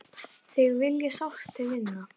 Þig vil ég sárt til vinna.